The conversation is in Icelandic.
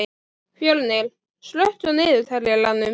Fjölnir, slökktu á niðurteljaranum.